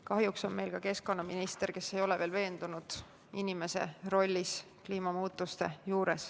Kahjuks on meil ka keskkonnaminister, kes ei ole veel veendunud inimese rollis kliimamuutuste puhul.